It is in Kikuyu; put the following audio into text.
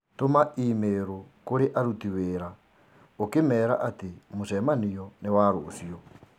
Tũma i-mīrū kũrĩ aruti wĩra ũk ĩmeera atĩ mũcemanio nĩ wa rũciũ